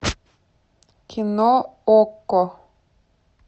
кино окко